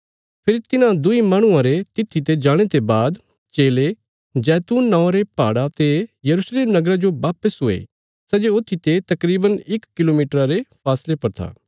फेरी तिन्हां दुईं माहणुआं रे तित्थी ते जाणे ते बाद चेले जैतून नौआं रे पहाड़ा ते यरूशलेम नगरा जो वापस हुये सै जे ऊत्थीते तकरीवन इक किलोमीटरा रे फासले पर था